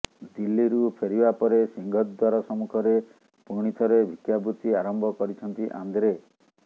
ଦିଲ୍ଲୀରୁ ଫେରିବା ପରେ ସିଂହଦ୍ୱାର ସମ୍ମୁଖରେ ପୁଣିଥରେ ଭିକ୍ଷାବୃତ୍ତି ଆରମ୍ଭ କରିଛନ୍ତି ଆନ୍ଦ୍ରେ